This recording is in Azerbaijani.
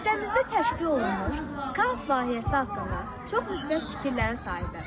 Məktəbimizdə təşkil olunmuş skaut layihəsi haqqında çox müsbət fikirlərin sahibiyəm.